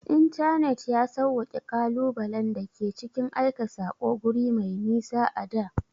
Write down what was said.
Intanet ya sawwaƙe ƙalubalen da ke cikin aika saƙo guri mai nisa a da.